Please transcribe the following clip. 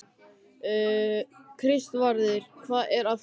Kristvarður, hvað er að frétta?